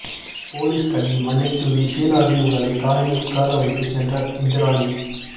police கண்ணில் மண்ணைத் தூவ ஷீனாவின் உடலை காரில் உட்கார வைத்துச் சென்ற இந்திராணி